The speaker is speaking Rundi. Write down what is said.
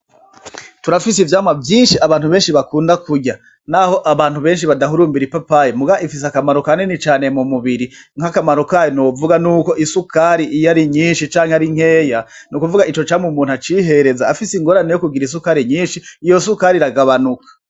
Turafise ivyamwa vyinshi abantu benshi bakunda kurya, naho abantu benshi badahurumbira ipapayi mugabo ifise akamaro kanini cane mu mubiri, nk'akamaro kayo novuga nuko isukari iyo ari nyinshi canke ari nkeya, nukuvuga ico camwa umuntu acihereza afise ingorane yo kugira isukari nyinshi iyo sukari iragabanuka.